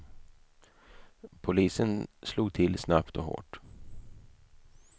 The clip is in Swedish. Polisen slog till snabbt och hårt.